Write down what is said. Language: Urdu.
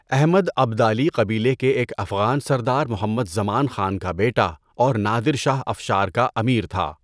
احمد ابدالی قبیلے کے ایک افغان سردار محمد زمان خان کا بیٹا اور نادر شاہ افشار کا امیر تھا۔